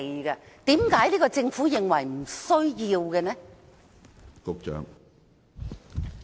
為甚麼現屆政府認為沒有需要立法？